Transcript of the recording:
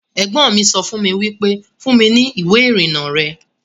Ẹ̀gbọ́n mi sọ fún mi wípé 'Fún mi ní ìwé ìrìnnà rẹ'